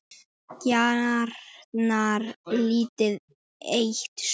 Gjarnan lítið eitt súr.